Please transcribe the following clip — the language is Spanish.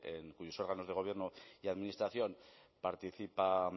en cuyos órganos de gobierno y administración participa